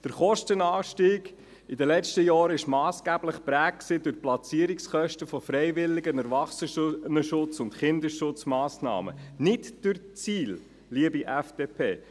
Der Kostenanstieg in den letzten Jahren war massgeblich geprägt durch die Platzierungskosten von freiwilligen Erwachsenenschutz- und Kinderschutzmassnahmen, nicht durch die SIL, liebe FDP.